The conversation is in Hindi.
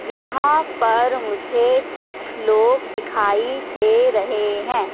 यहां पर मुझे कुछ लोग दिखाई दे रहे हैं।